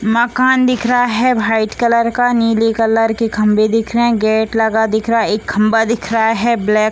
मकान दिख रहा है वाइट कलर का नीले कलर के खंभे दिख रहे हैं गेट लगा दिख रहा है एक खंभा दिख रहा है ब्लैक --